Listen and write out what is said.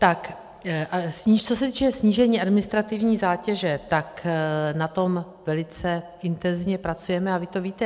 Tak co se týče snížení administrativní zátěže, tak na tom velice intenzivně pracujeme a vy to víte.